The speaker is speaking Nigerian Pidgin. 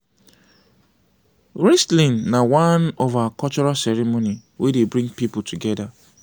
wristling na one of our cultural ceremony wey dey bring people together